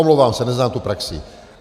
Omlouvám se, neznám tu praxi.